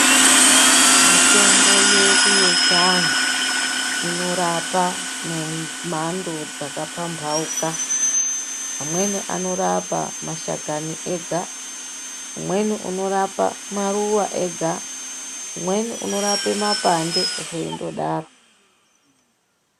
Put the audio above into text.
Mitombo yedu yechiandu inorapa nemhando dzaka pambauka amweni anorapa mashakani ega, umweni unorapa maruwa ega, umweni unorape mapande zveindodaro.